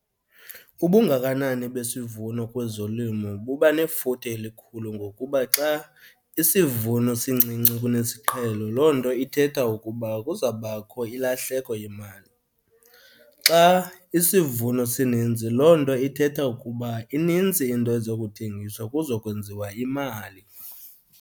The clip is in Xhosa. Ubungakanani besivuno kwezolimo buba nefuthe elikhulu ngokuba xa isivuno sincinci kunesiqhelo loo nto ithetha ukuba kuzawubakho ilahleko yemali. Xa isivuno sininzi loo nto ithetha ukuba inintsi into ezokuthengiswa kuzokwenziwa imali.